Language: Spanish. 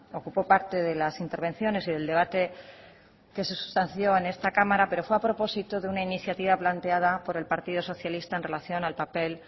ocupó parte de las intervenciones y del debate que se sustanció en esta cámara pero fue a propósito de una iniciativa planteada por el partido socialista en relación al papel